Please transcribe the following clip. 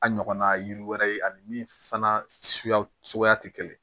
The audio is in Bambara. A ɲɔgɔnna yiri wɛrɛ ye ani min fana suguyaw suguya tɛ kelen ye